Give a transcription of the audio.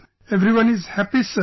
Everyone is happy Sir